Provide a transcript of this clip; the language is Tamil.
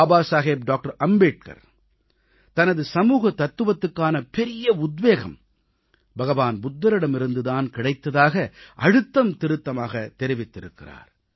பாபா சாஹேப் டாக்டர் அம்பேத்கர் தனது சமூக தத்துவத்துக்கான பெரிய உத்வேகம் புத்தபிரானிடம் இருந்து தான் கிடைத்ததாக அழுத்தம் திருத்தமாகத் தெரிவித்திருக்கிறார்